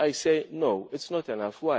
I say, no, it is not enough.